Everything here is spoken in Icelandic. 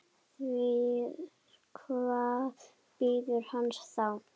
Því hvað bíður hans þá?